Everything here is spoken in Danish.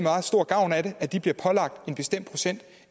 stor gavn af at de bliver pålagt en bestemt procent